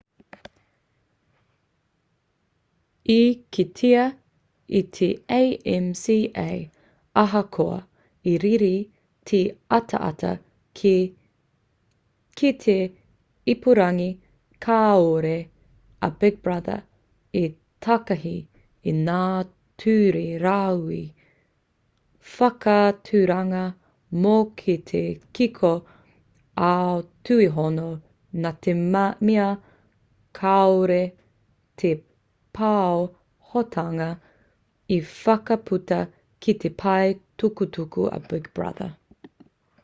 i kitea e te acma ahakoa i rere te ataata ki te ipurangi kāore a big brother i takahi i ngā ture rāhui whakaaturanga mō te kiko ā-tuihono nā te mea kāore te pāhotanga i whakaputa ki te pae tukutuku a big brother